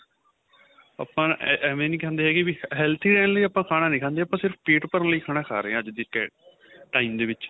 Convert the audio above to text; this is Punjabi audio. ਆਪਾਂ ਐਵੇ ਨਹੀਂ ਕਹਿੰਦੇ ਹੈਗੇ ਵੀ healthy ਰਹਿਣ ਲਈ ਖਾਣਾ ਨਹੀਂ ਖਾਦੇ ਆਪਾਂ ਸਿਰਫ਼ ਪੇਟ ਭਰਨ ਲਈ ਖਾਣਾ ਖਾਂ ਰਹੇ ਹਾਂ ਅੱਜ ਦੇ time ਦੇ ਵਿੱਚ